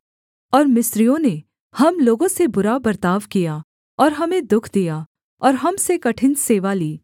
और मिस्रियों ने हम लोगों से बुरा बर्ताव किया और हमें दुःख दिया और हम से कठिन सेवा ली